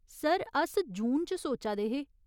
Sir, अस जून च सोचा दे हे ?